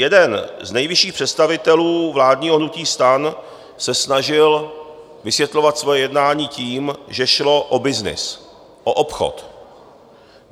Jeden z nejvyšších představitelů vládního hnutí STAN se snažil vysvětlovat svoje jednání tím, že šlo o byznys, o obchod.